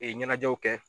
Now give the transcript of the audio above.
ɲɛnajɛw kɛ